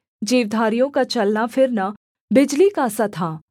जीवधारियों का चलना फिरना बिजली का सा था